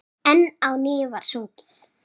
Enn á ný var sungið.